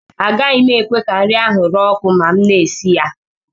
Agaghị m ekwe ka nri ahụ ree ọkụ ma m na-esi nri